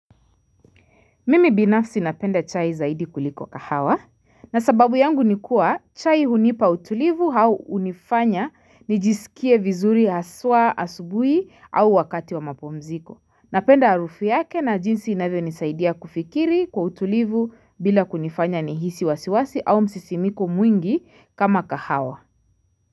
Mimi binafsi napenda chai zaidi kuliko kahawa. Na sababu yangu nikua chai hunipa utulivu au unifanya nijisikie vizuri haswa asubui au wakati wa mapumziko. Napenda arufu yake na jinsi inavyo nisaidia kufikiri kwa utulivu bila kunifanya nihisi wasiwasi au msisimiko mwingi kama kahawa.